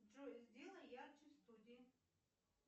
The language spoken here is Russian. джой сделай ярче в студии